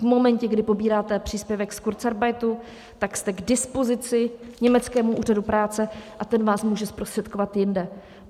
V momentě, kdy pobíráte příspěvek z kurzarbeitu, tak jste k dispozici německému úřadu práce a ten vás může zprostředkovat jinde.